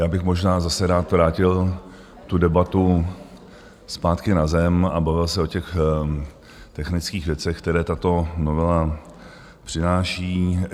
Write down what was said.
Já bych možná zase rád vrátil tu debatu zpátky na zem a bavil se o těch technických věcech, které tato novela přináší.